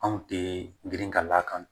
Anw tɛ girin ka d'a kan